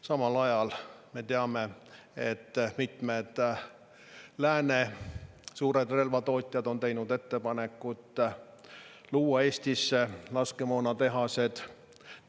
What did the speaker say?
Samal ajal me teame, et mitmed lääne suured relvatootjad on teinud ettepaneku luua Eestisse laskemoonatehased.